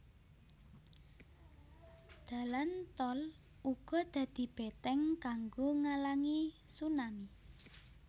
Dalan tol uga dadi beteng kanggo ngalangi tsunami